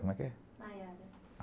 Como é que é? Maiara